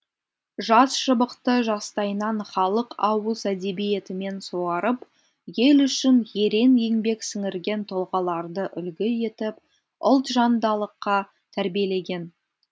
жас шыбықты жастайынан халық ауыз әдебиетімен суарып ел үшін ерен еңбек сіңірген тұлғаларды үлгі етіп ұлтжандалыққа тәрбиелеген